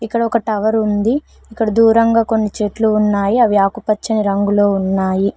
ఇక్కడ ఒక టవర్ ఉంది ఇక్కడ దూరంగా కొన్ని చెట్లు ఉన్నాయి అవి ఆకుపచ్చని రంగులో ఉన్నాయి.